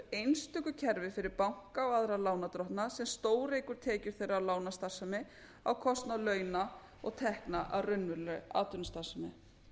einstöku kerfi fyrir banka og aðra lánardrottna sem stóreykur tekjur þeirra af lánastarfsemi á kostnað launa og tekna af raunverulegri atvinnustarfsemi